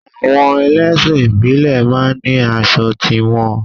Àwọn ẹlẹ́sìn ìbílẹ̀ máa ń ní aṣọ ti wọn